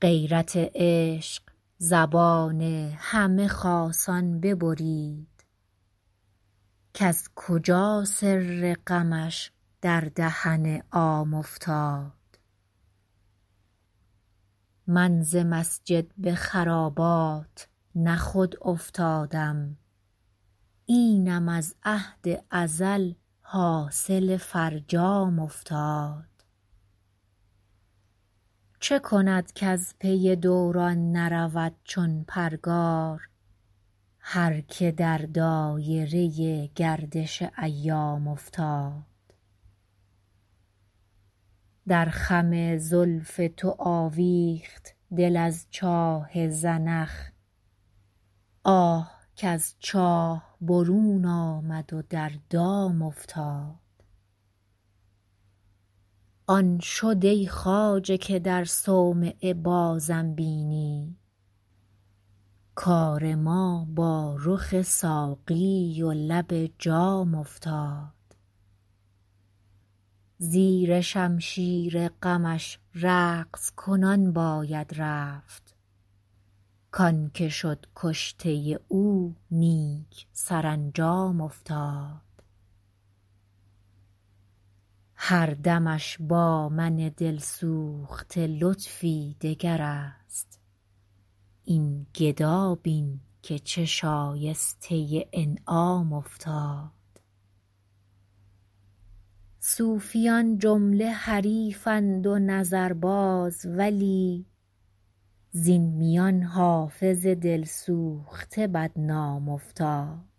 غیرت عشق زبان همه خاصان ببرید کز کجا سر غمش در دهن عام افتاد من ز مسجد به خرابات نه خود افتادم اینم از عهد ازل حاصل فرجام افتاد چه کند کز پی دوران نرود چون پرگار هر که در دایره گردش ایام افتاد در خم زلف تو آویخت دل از چاه زنخ آه کز چاه برون آمد و در دام افتاد آن شد ای خواجه که در صومعه بازم بینی کار ما با رخ ساقی و لب جام افتاد زیر شمشیر غمش رقص کنان باید رفت کـ آن که شد کشته او نیک سرانجام افتاد هر دمش با من دل سوخته لطفی دگر است این گدا بین که چه شایسته انعام افتاد صوفیان جمله حریفند و نظرباز ولی زین میان حافظ دل سوخته بدنام افتاد